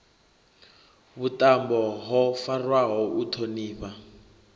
vhuṱambo ho farwaho u ṱhonifha